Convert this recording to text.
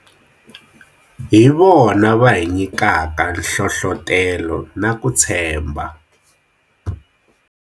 Hivona va hi nyikaka nhlohlotelo na ku tshembha.